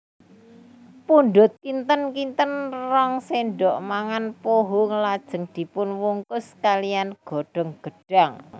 Pundhut kinten kinten rong sendok mangan pohung lajeng dipunwungkus kaliyan godhong gedhang